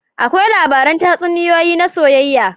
Akwai labaran tatsuniyoyi na soyayya.